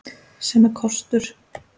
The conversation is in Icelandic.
Sem er kostur.